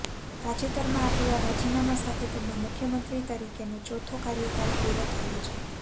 તાજેતરમાં આપેલા રાજીનામા સાથે તેમનો મુખ્યમંત્રી તરીકેનો ચોથો કાર્યકાળ પૂરો થયો છે